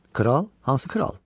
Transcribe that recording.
Kral, hansı kral?